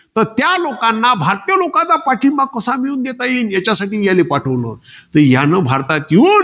तर त्या लोकांना. भारतीय लोकांना पाठींबा कसा मिळवून देता येईल? याच्यासाठी याले पाठवलं. तर याने भारतत येऊन,